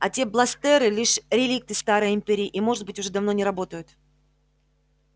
а те бластеры лишь реликты старой империи и может быть уже давно не работают